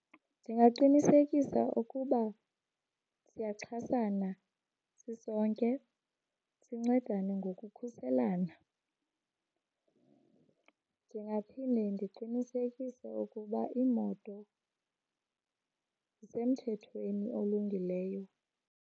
Ndingaqinisekisa ukuba siyaxhasana sisonke, sincedane ngokukhuselana. Ndingaphinde ndiqinisekise ukuba iimoto zisemthethweni olungileyo.